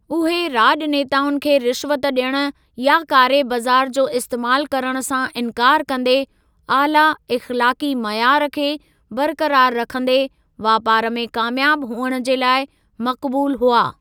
उहे राज॒नेताउनि खे रिश्वत डि॒यणु या कारे बाज़ार जो इस्तेमालु करणु सां इन्कार कंदे आला इख़्लाक़ी मयार खे बरक़रार रखिन्दे वापार में क़ामयाबु हुअणु जे लाइ मक़बूलु हुआ।